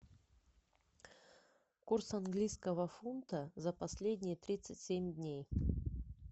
курс английского фунта за последние тридцать семь дней